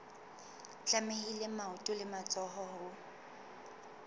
tlamehile maoto le matsoho ho